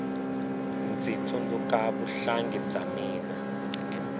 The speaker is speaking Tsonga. ndzi tsundzuka vuhlangi bya mina